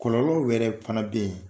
Kɔlɔlɔw wɛrɛ fana bɛ yen.